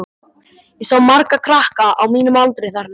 Ég sá marga krakka á mínum aldri þarna.